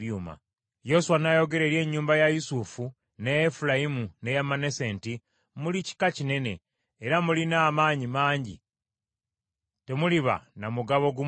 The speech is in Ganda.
Yoswa n’ayogera eri ennyumba ya Yusufu, n’eya Efulayimu n’eya Manase nti, “Muli kika kinene era mulina amaanyi mangi temuliba na mugabo gumu gwokka,